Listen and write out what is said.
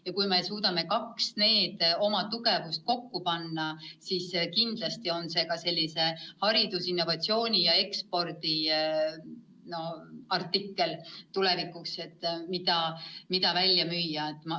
Ja kui me suudame need kaks tugevat külge kokku panna, siis kindlasti on seegi tulevikus haridusinnovatsiooni ekspordi artikkel, mida välja müüa.